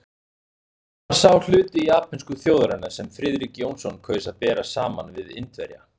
Það var sá hluti japönsku þjóðarinnar, sem Friðrik Jónsson kaus að bera saman við Indverja.